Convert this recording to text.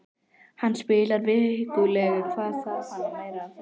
Hann spilar vikulega, hvað þarf hann meira á þessum aldri?